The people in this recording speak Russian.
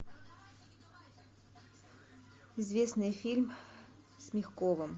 известный фильм с мягковым